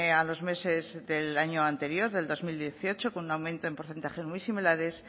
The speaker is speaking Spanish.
a los meses del año anterior del dos mil dieciocho con un aumento en porcentajes muy similares